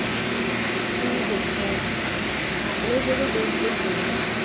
ਕੀ ਦੇਖੋ ਆਪਣੇ ਜਿਹੜੇ ਦੇਸ਼ ਦੇ ਲੋਕ ਹੈਗੇ ਆ